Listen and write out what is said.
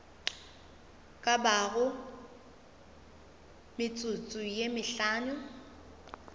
ka bago metsotso ye mehlano